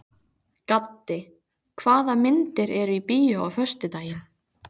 Gaddi, hvaða myndir eru í bíó á föstudaginn?